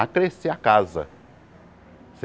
A crescer a casa.